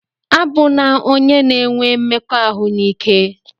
A bụna onye na-enwe mmekọahụ n'ike!